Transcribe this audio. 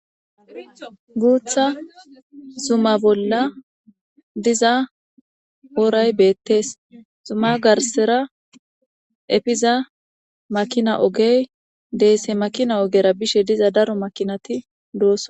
Guutha zuma bolla diza ooray beettees zuma garsera efiza makina ogey deesse makina ogera bishe diza daro makinati doosa.